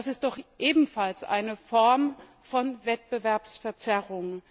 Das ist doch ebenfalls eine Form von Wettbewerbsverzerrung.